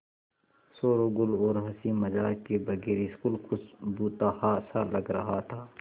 शोरोगुल और हँसी मज़ाक के बगैर स्कूल कुछ भुतहा सा लग रहा था